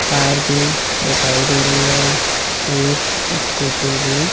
car भी दिखाई दे रही है एक स्कूटी भी--